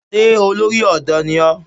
Ṣé olórí ọ̀dọ́ ni ó?